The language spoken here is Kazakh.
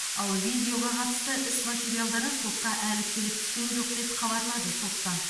ал видеоға қатысты іс материалдары сотқа әлі келіп түскен жоқ деп хабарлады соттан